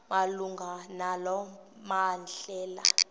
malunga nalo mbandela